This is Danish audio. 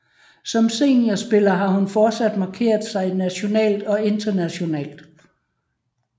Som seniorspiller har hun fortsat markeret sig nationalt og internationalt